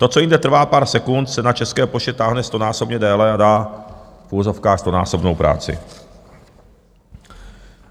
To, co jinde trvá pár sekund, se na České poště táhne stonásobně déle a dá v uvozovkách stonásobnou práci.